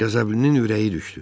Qəzəblinin ürəyi düşdü.